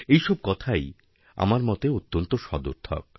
এই সব কথাই আমার মতে অত্যন্ত সদর্থক